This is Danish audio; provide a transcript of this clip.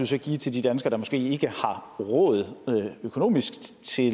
så give til de danskere der måske ikke har råd økonomisk til